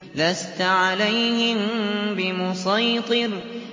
لَّسْتَ عَلَيْهِم بِمُصَيْطِرٍ